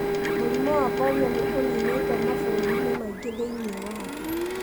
Mũrimũ wa polio nĩ ũninĩtwo mabũrũri-inĩ maingĩ thĩinĩ wa thĩ.